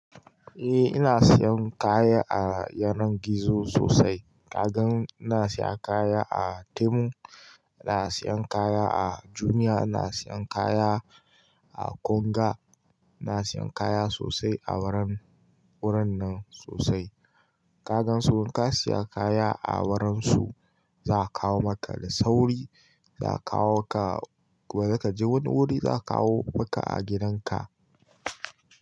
Eh ina siyan kaya a yanar gizo sosai. Kaga ina siya kaya a Temu, ina siyan kaya a Jumia, ina siyan kaya a Konga, ina siyan kaya sosai a wurin nan sosai. Ka gan su ka siya kaya a wurin su, za a kawo maka da sauri, ba za ka je wani wuri ba za kawo maka a gidan ka.